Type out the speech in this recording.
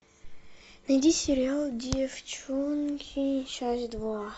найди сериал деффчонки часть два